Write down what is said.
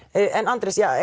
Andrés